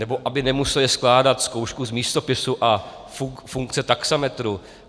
Nebo aby nemuseli skládat zkoušku z místopisu a funkce taxametru.